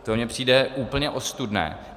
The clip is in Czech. To mně přijde úplně ostudné.